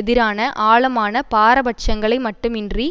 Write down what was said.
எதிரான ஆழமான பாரபட்சங்களை மட்டுமின்றி